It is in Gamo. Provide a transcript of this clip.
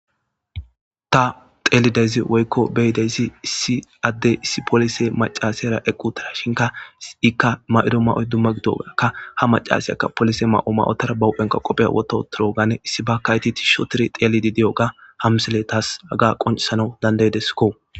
Tha xeellidaysi woykko be7idasi issi addee issi polise maccaaseera eqquuththiraashinkka ikka maa7iro maa7oy dumma gidoogaakka ha maccasiyaka dumma ma7uwa maya uththara ba huphen qophe woththa7uththiroogaanne issibaakka ethi thishshi ooththiri xeelliiddi diyoogaa ha misilee thas haga qonccissanawu danddayide koo.